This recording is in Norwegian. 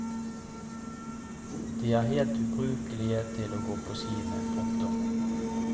De er helt ubrukelige til å gå på ski med. punktum